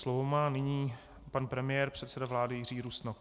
Slovo má nyní pan premiér, předseda vlády Jiří Rusnok.